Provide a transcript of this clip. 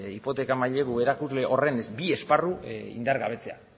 hipoteka mailegu erakusle horren bi esparru indargabetzea